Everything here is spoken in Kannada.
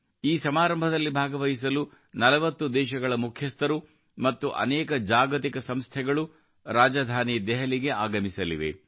ಈ ಸಮಾರಂಭದಲ್ಲಿ ಭಾಗವಹಿಸಲು 40 ದೇಶಗಳ ಮುಖ್ಯಸ್ಥರು ಮತ್ತು ಅನೇಕ ಜಾಗತಿಕ ಸಂಸ್ಥೆಗಳು ರಾಜಧಾನಿ ದೆಹಲಿಗೆ ಆಗಮಿಸಲಿವೆ